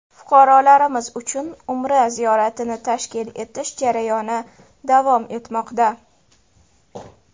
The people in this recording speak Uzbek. Fuqarolarimiz uchun umra ziyoratini tashkil etish jarayoni davom etmoqda.